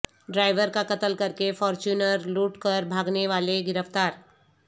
driver کا قتل کرکے فارچیونر لوٹ کر بھاگنے والے گرفتار